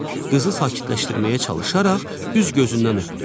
Qızı sakitləşdirməyə çalışaraq üz gözündən öpdü.